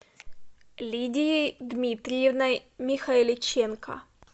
лидией дмитриевной михайличенко